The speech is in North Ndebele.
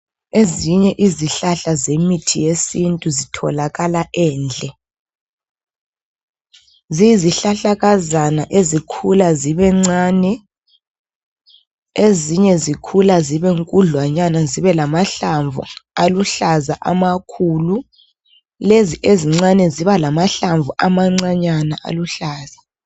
Ezinye izihlahla zemithi yesintu zitholakala endle. Ziyizihlahlakazana ezikhula zibencane. Ezinye zikhula zibe nkudlwanywana zibe lamahlamvu aluhlaza amakhulu lezi ezincane ziba lamahlamvu amancanyana aluhlaza.